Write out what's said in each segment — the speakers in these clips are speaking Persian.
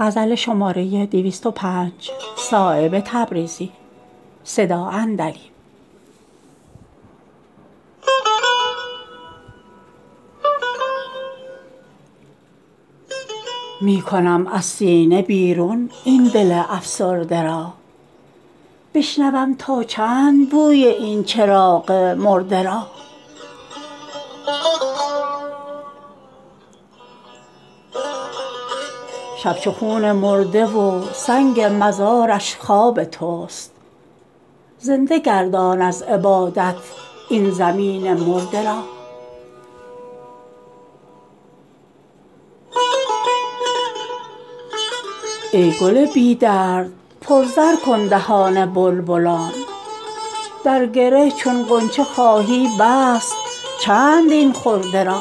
می کنم از سینه بیرون این دل افسرده را بشنوم تا چند بوی این چراغ مرده را شب چو خون مرده و سنگ مزارش خواب توست زنده گردان از عبادت این زمین مرده را ای گل بی درد پر زر کن دهان بلبلان در گره چون غنچه خواهی بست چند این خرده را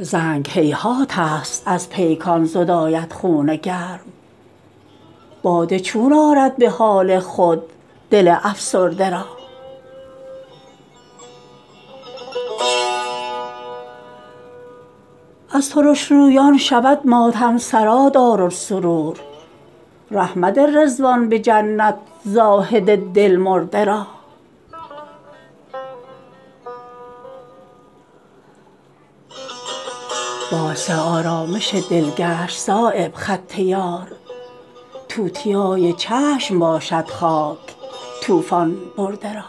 زنگ هیهات است از پیکان زداید خون گرم باده چون آرد به حال خود دل افسرده را از ترشرویان شود ماتم سرا دارالسرور ره مده رضوان به جنت زاهد دلمرده را باعث آرامش دل گشت صایب خط یار توتیای چشم باشد خاک طوفان برده را